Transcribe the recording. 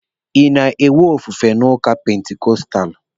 Ị na-enwe ofufe n'ụka pentikostalụ?